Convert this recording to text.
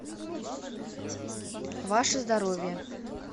ваше здоровье